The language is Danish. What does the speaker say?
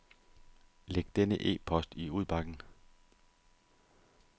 Læg denne e-post i udbakken.